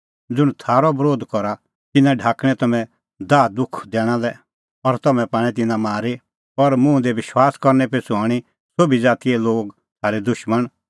ज़ुंण थारअ बरोध करा तिन्नां ढाकणैं तम्हैं दाहदुख दैणा लै और तम्हैं पाणै तिन्नां मारी और मुंह दी विश्वास करनै पिछ़ू हणीं सोभी ज़ातीए लोग थारै दुशमण